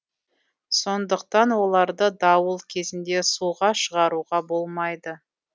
сондықтан оларды дауыл кезінде суға шығаруға болмайды